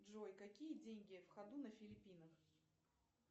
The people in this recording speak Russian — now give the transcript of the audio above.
джой какие деньги в ходу на филиппинах